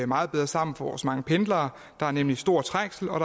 meget bedre sammen for vores mange pendlere der er nemlig stor trængsel og